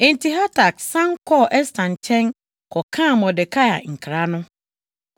Enti Hatak san kɔɔ Ɛster nkyɛn kɔkaa Mordekai nkra no.